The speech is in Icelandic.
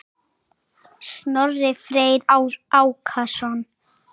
Snorri Freyr Ákason.